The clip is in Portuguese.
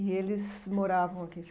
E eles moravam aqui?